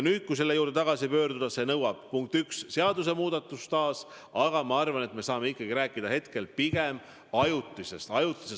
Kui selle juurde tagasi pöörduda, siis see nõuab, punkt üks, taas seaduse muutmist, aga ma arvan, et me saame ikkagi rääkida pigem ajutisest – ajutisest!